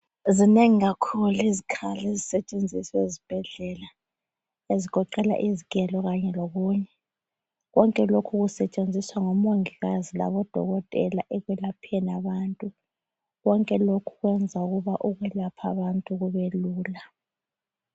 Zinengi kakhulu izikhali ezisetshenziswa ezibhedlela ezigoqela izigelo kanye lokunye. Konke lokhu kusetshenziswa ngomongikazi labodokotela ekwelapheni abantu. Konke lokhu kwenza ukuba ukwelapha abantu kube lula.